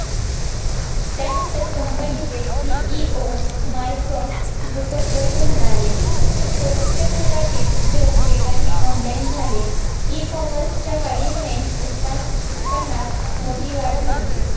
त्यानंतर company चे CEO Mark Zuckerberg म्हणाले कोविडच्या सुरवातीस जग वेगाने online झाले ecommerce च्या वाढी मुळे उत्पन्न उत्पन्नात मोठी वाढ झाली